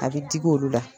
A bɛ digi olu la